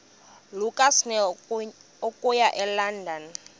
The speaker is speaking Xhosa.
lukasnail okuya elondon